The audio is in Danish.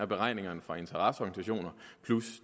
beregningerne fra interesseorganisationer plus